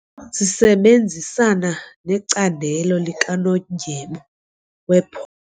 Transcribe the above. Sisebenzisana necandelo likanondyebo wepho.